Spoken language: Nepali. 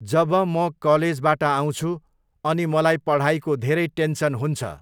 जब म कलेजबाट आउँछु अनि मलाई पढाइको धेरै टेन्सन हुन्छ।